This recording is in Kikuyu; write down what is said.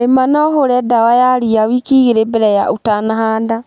Rĩma na ũhure dawa ya riawiki igĩrĩ mbere ya ũtanahanda.